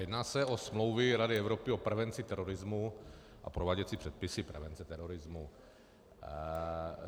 Jedná se o smlouvy Rady Evropy o prevenci terorismu a prováděcí předpisy prevence terorismu.